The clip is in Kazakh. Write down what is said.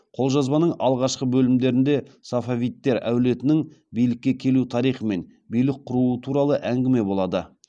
қолжазбаның алғашқы бөлімдерінде сефевидтер әулетінің билікке келу тарихы мен билік құруы туралы әңгіме болады